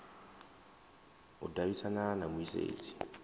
u davhidzana na mu isedzi